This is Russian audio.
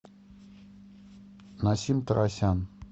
насим тарасян